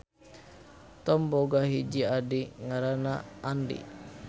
Thom boga hiji adi ngaranna Andy.